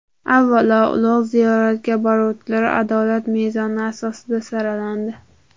Avvalo, ulug‘ ziyoratga boruvchilar adolat mezoni asosida saralandi.